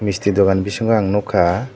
misti dogan bisingo ang nugkha.